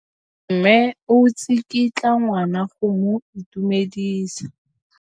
Mme o tsikitla ngwana go mo itumedisa.